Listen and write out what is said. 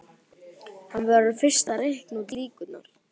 Hann verður fyrst að reikna út líkurnar.